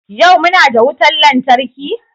Yau muna da wutar lantarki?